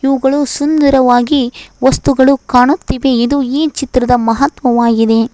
ಅವುಗಳು ಸುಂದರವಾಗಿ ವಸ್ತುಗಳು ಕಾಣುತ್ತಿವೆ ಇದು ಈ ಚಿತ್ರದ ಮಹತ್ವವಾಗಿದೆ.